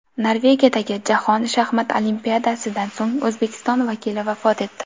Norvegiyadagi Jahon shaxmat olimpiadasidan so‘ng O‘zbekiston vakili vafot etdi.